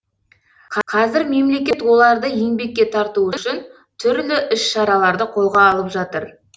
қазір мемлекет оларды еңбекке тарту үшін түрлі іс шараларды қолға алып жатыр